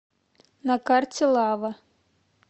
на карте лава